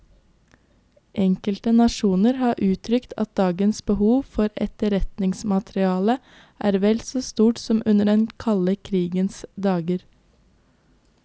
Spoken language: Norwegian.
Enkelte nasjoner har uttrykt at dagens behov for etterretningsmateriale er vel så stort som under den kalde krigens dager.